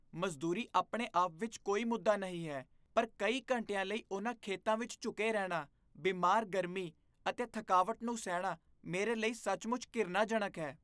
ਮਜ਼ਦੂਰੀ ਆਪਣੇ ਆਪ ਵਿੱਚ ਕੋਈ ਮੁੱਦਾ ਨਹੀਂ ਹੈ, ਪਰ ਕਈ ਘੰਟਿਆਂ ਲਈ ਉਹਨਾਂ ਖੇਤਾਂ ਵਿੱਚ ਝੁਕੇ ਰਹਿਣਾ, ਬਿਮਾਰ ਗਰਮੀ ਅਤੇ ਥਕਾਵਟ ਨੂੰ ਸਹਿਣਾ, ਮੇਰੇ ਲਈ ਸੱਚਮੁੱਚ ਘਿਰਣਾਜਨਕ ਹੈ।